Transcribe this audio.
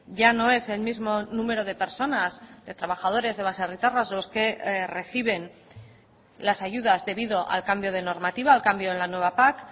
ya no es el mismo número de personas de trabajadores de baserritarras los que reciben las ayudas debido al cambio de normativa al cambio en la nueva pac